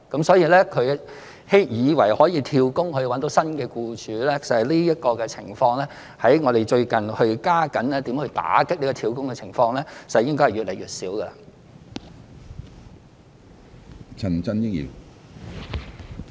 所以，外傭以為可以"跳工"，尋找新僱主的情況，在我們最近加緊打擊"跳工"之下，應該會越來越少。